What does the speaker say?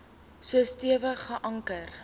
so stewig geanker